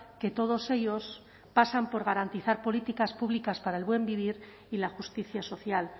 que todos ellos pasan por garantizar políticas públicas para el buen vivir y la justicia social